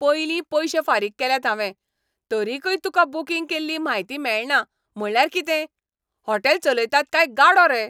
पयलीं पयशे फारीक केल्यात हावें, तरीकय तुका बूकिंग केल्ली म्हायती मेळना म्हटल्यार कितें. हॉटेल चलयतात काय गाडो रे!